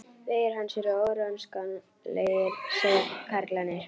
Vegir hans eru órannsakanlegir, segja karlarnir.